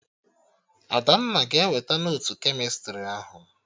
Adanna ga-eweta notu kemịstrị ahụ